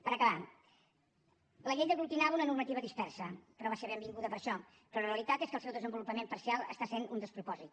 per acabar la llei aglutinava una normativa dispersa però va ser benvinguda per això però la realitat és que el seu desenvolupament parcial està sent un despropòsit